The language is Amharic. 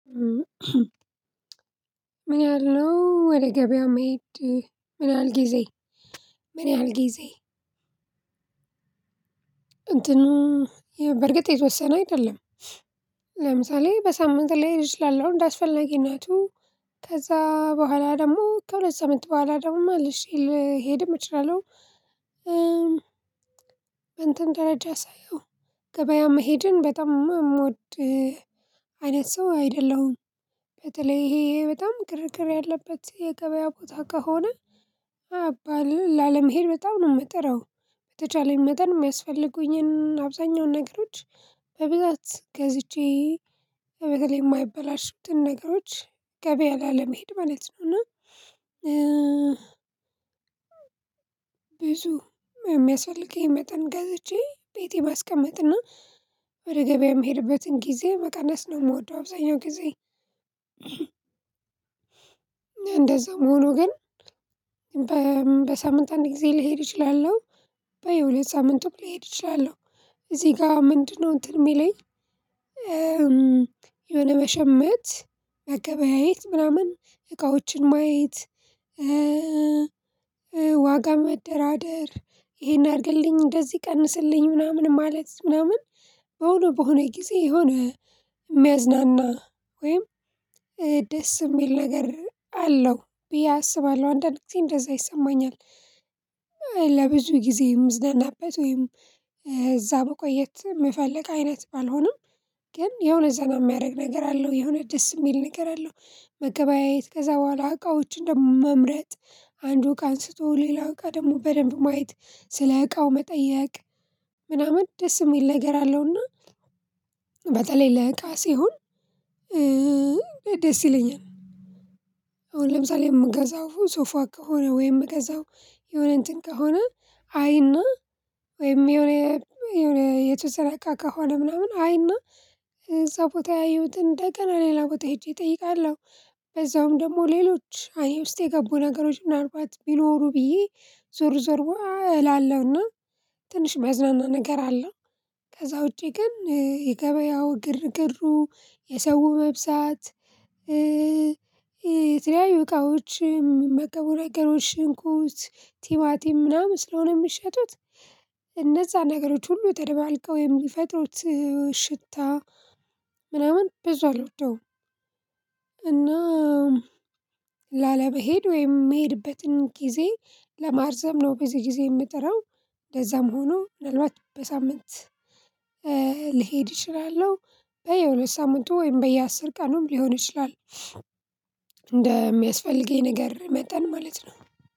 ምን ያህል ነው ወደ ገበያ መሄድ ምን ያህል ጊዜ ምን ያህል ጊዜ? እንትኑ በእርግጥ የተወሰነ አይደለም። ለምሳሌ በሳምንት ላይሆን ይችላል ላለው እንደ አስፈላጊነቱ ከዛ በኋላ ደግሞ ከሁለት ሳምንት በኋላ ደግሞ መልሼ ልሄድም እችላለሁ። እንትን ደረጃ ሳየው ገበያ መሄድን በጣም እምወድ አይነት ሰው አይደለሁም። በተለይ ይሄ በጣም ግርግር ያለበት የገበያ ቦታ ከሆነ አባል ላለመሄድ በጣም ነው የምጥረው። በተቻለኝ መጠን የሚያስፈልጉኝን አብዛኛውን ነገሮች በብዛት ገዝቼ በተለይ የማይበላሹትን ነገሮች ገበያ ላለመሄድ ማለት ነው። እና ብዙ የሚያስፈልገኝን መጠን ገዝቼ ቤቴ ባስቀምጥና ወደ ገበያ የምሄድበትን ጊዜ መቀነስ ነው የምወደው አብዛኛው ጊዜ። እንደዛም ሆኖ ግን በ በሳምንት አንድ ጊዜ ልሄድ እችላለሁ። በይው ሁለት ሳምንትም ልሄድ እችላለሁ። እዚህ ጋ ምንድነው? እንትን የሚለኝ የሆነ መሸመት መገበያየት ምናምን እቃዎችን ማየት ዋጋ መደራደር ይሄን አርግልኝ እንደዚህ ቀንስልኝ ምናምን ማለት ምናምን በሆነ በሆነ ጊዜ የሆነ የሚያዝናና ወይም ደስ የሚል ነገር አለው ብዬ አስባለሁ አንዳንድ ጊዜ እንደዛ ይሰማኛል። ጊዜ የምዝናናበት ወይም እዛ መቆየት የምፈልግ አይነት ባልሆንም ግን የሆነ ዘመን የሚያረግ ነገር አለው የሆነ ደስ የሚል ነገር አለው። መገበያየት ከዛ በኋላ እቃዎችን ደግሞ መምረጥ አንዱ እቃ አንስቶ ሌላው እቃ ደግሞ በደንብ ማየት ስለ እቃው መጠየቅ ምናምን ደስ የሚል ነገር አለውና በተለይ ለእቃ ሲሆን ደስ ይለኛል። አሁን ለምሳሌ የምገዛው ሶፋ ከሆነ ወይም የምገዛው የሆነ እንትን ከሆነ አይና ወይም የሆነ የሆነ የተሰራቃ ከሆነ ምናምን አይና ቦታ ያየሁትን እንደገና ሌላ ቦታ ሄጄ እጠይቃለሁ። በዛውም ደግሞ ሌሎች አይን ውስጥ የገቡ ነገሮች ምናልባት ቢኖሩ ብዬ ዞር ዞር እላለሁና ትንሽ ሚያዝናና ነገር አለው። ከዛ ውጪ ግን የገበያው ግርግሩ የሰው መብዛት የተለያዩ እቃዎችም መቀበል ነገሮች ሽንኩት ቲማቲም ምናምን ስለሆነ የምትሸጡት እነዛ ነገሮች ሁሉ ተደባልቀው የሚፈጥሩት ሽታ ምናምን ብዙ አልወደውም። እና ላለመሄድ ወይም የምሄድበትን ጊዜ ለማርዘም ነው ብዙ ጊዜ የምጥረው። ለዛም ሆኖ ምናልባት በሳምንት ልሄድ እችላለሁ በየሁለት ሳምንቱ ወይም በየአስር ቀኑም ሊሆን ይችላል እንደሚያስፈልገኝ ነገር መጠን ማለት ነው።